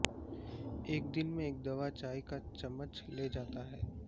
ایک دن میں ایک دوا چائے کا چمچ لے جاتا ہے